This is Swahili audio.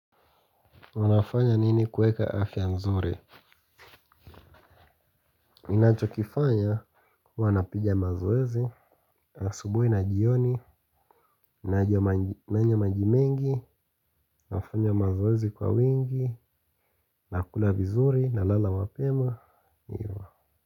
Unafanya nini kueka afya nzuri? Ninacho kifanya huwa napija mazoezi. Asubui na jioni. Nanywa maji mengi. Wafanya mazoezi kwa wingi. Nakula vizuri na lala mapema. Ivo.